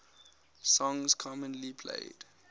songs commonly played